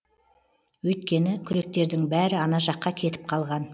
өйткені күректердің бәрі ана жаққа кетіп қалған